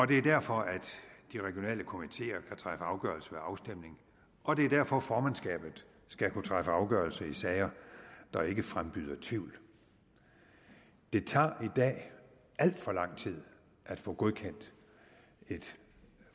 det er derfor at de regionale komiteer kan træffe afgørelse ved afstemning og det er derfor at formandskabet skal kunne træffe afgørelse i sager der ikke frembyder tvivl det tager i dag alt for lang tid at få godkendt et